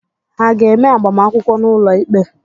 Ha ga-eme agbamakwụkwọ n'ụlọ ikpe?